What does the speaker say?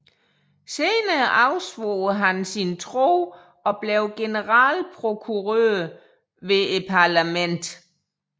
Senere afsvor han sin tro og blev generalprokurør ved Parlamentet